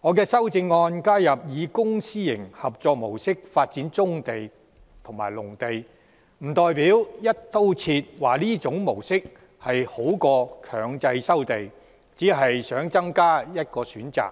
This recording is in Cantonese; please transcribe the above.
我的修正案加入以公私營合作模式來發展棕地和農地，並不代表我"一刀切"地認為這種模式比強制收地好，我只是想增加一項選擇，